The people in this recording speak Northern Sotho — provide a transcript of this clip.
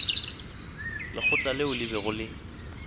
lekgotla leo le bego le